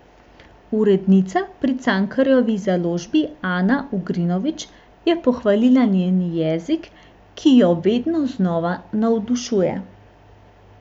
Urednica pri Cankarjevi založbi Ana Ugrinović je pohvalila njen jezik, ki jo vedno znova navdušuje.